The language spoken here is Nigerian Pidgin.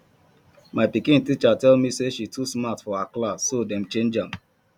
my pikin teacher tell me say she too smart for her class so dey change am